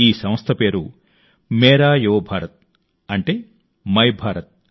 ఈ సంస్థ పేరు మేరా యువ భారత్ అంటే మైభారత్